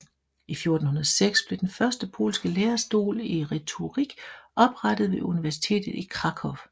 I 1406 blev den første polske lærestol i retorik oprettet ved universitetet i Krakow